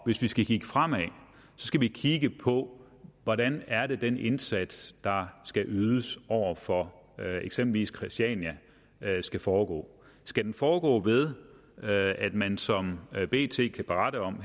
hvis vi skal kigge fremad skal vi kigge på hvordan det er at den indsats der skal ydes over for eksempelvis christiania skal foregå skal den foregå ved at man som bt kan berette om